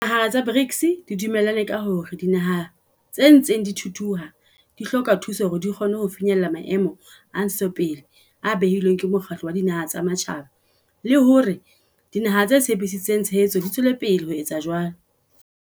Dinaha tsa BRICS di dume llane ka hore dinaha tse ntseng di thuthuha di hloka thuso hore di kgone ho finyella Maemo a Ntshetsopele a behilweng ke Mokgatlo wa Dinaha tsa Matjhaba le hore dinaha tse tshepisitseng tshehetso di tswele pele ho etsa jwalo.